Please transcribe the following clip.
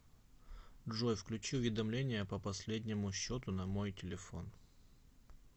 джой включи уведомления по последнему счету на мой телефон